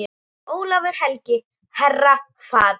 Ólafur helgi, herra, faðir.